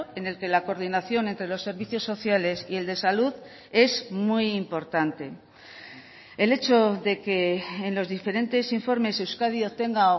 en el que la coordinación entre los servicios sociales y el de salud es muy importante el hecho de que en los diferentes informes euskadi obtenga